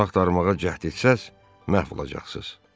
Onu axtarmağa cəhd etsəz, məhv olacaqsınız.